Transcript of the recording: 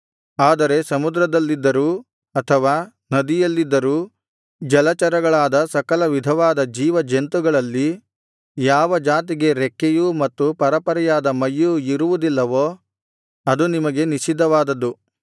ಆದರೆ ಸಮುದ್ರದಲ್ಲಿದ್ದರೂ ಅಥವಾ ನದಿಯಲ್ಲಿದ್ದರೂ ಜಲಚರಗಳಾದ ಸಕಲವಿಧವಾದ ಜೀವಜಂತುಗಳಲ್ಲಿ ಯಾವ ಜಾತಿಗೆ ರೆಕ್ಕೆಯೂ ಮತ್ತು ಪರೆಪರೆಯಾದ ಮೈಯೂ ಇರುವುದಿಲ್ಲವೋ ಅದು ನಿಮಗೆ ನಿಷಿದ್ಧವಾದದ್ದು